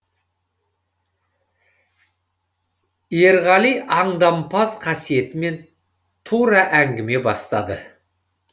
ерғали аңдампаз қасиетімен тура әңгіме бастады